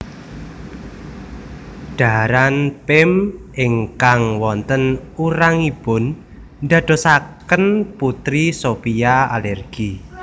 Dhaharan Pim ingkang wonten urangipun ndadosaken Putri Sophia alergi